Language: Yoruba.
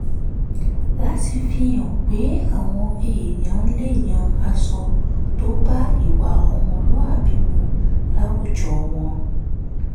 láti fi hàn pé àwọn èèyàn lè yan aṣọ tó bá ìwà ọmọlúwàbí mu láwùjọ wọn